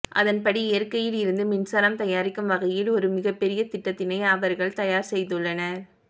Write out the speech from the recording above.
அதன்படி இயற்கையில் இருந்து மின்சாரம் தயாரிக்கும் வகையில் ஒரு மிகப்பெரிய திட்டத்தினை அவர்கள் தயார் செய்துள்ளனர்